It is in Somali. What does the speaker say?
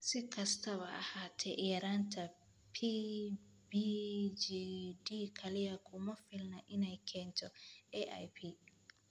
Si kastaba ha ahaatee, yaraanta PBGD kaliya kuma filna inay keento AIP.